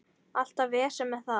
Alltaf vesen með það.